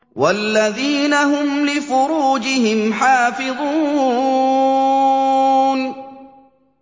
وَالَّذِينَ هُمْ لِفُرُوجِهِمْ حَافِظُونَ